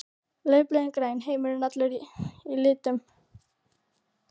Laufblöðin græn, heimurinn allur í litum.